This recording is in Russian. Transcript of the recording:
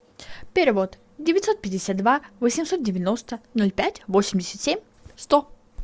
перевод девятьсот пятьдесят два восемьсот девяносто ноль пять восемьдесят семь сто